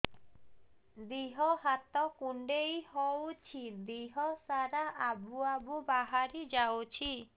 ଦିହ ହାତ କୁଣ୍ଡେଇ ହଉଛି ଦିହ ସାରା ଆବୁ ଆବୁ ବାହାରି ଯାଉଛି